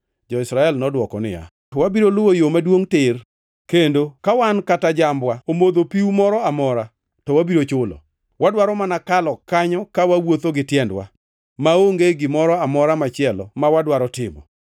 Jo-Israel nodwoko niya, “Wabiro luwo yo maduongʼ tir, kendo ka wan kata jambwa omodho piu mora amora, to wabiro chulo. Wadwaro mana kalo kanyo ka wawuotho gi tiendwa; maonge gimoro amora machielo mwadwaro timo.”